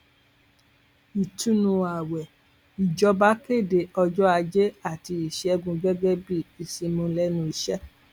ìtùnú ààwẹ ìjọba kéde ọjọ ajé àti ìṣègùn gẹgẹ bíi ìsinmi lẹnu iṣẹ